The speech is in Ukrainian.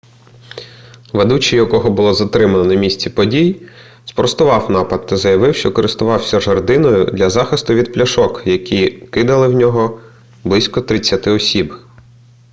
ведучий якого було затримано на місці подій спростував напад та заявив що користувався жердиною для захиститу від пляшок які кидали в нього близько тридцяти осіб